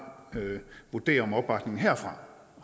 vurdere om opbakningen herfra